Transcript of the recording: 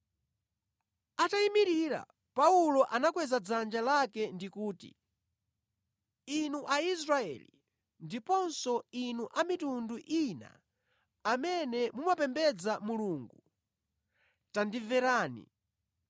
Atayimirira, Paulo anakweza dzanja lake ndi kuti, “Inu Aisraeli ndiponso inu a mitundu ina amene mumapembedza Mulungu, tandimverani!